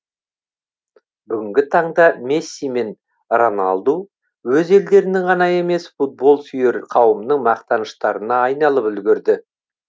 бүгінгі таңда месси мен роналду өз елдерінің ғана емес футболсүйер қауымның мақтаныштарына айналып үлгерді